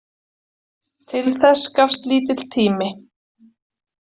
Til þess gafst lítill tími.